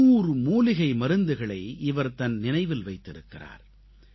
500 மூலிகை மருந்துகளை இவர் தன் நினைவில் வைத்திருக்கிறார்